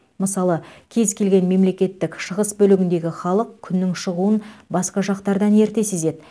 мысалы кез келген мемлекеттік шығыс бөлігіндегі халық күннің шығуын басқа жақтардан ерте сезеді